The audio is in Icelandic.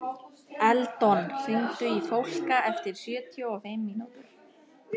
Eldon, hringdu í Fólka eftir sjötíu og fimm mínútur.